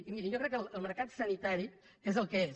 i miri jo crec que el mercat sanitari és el que és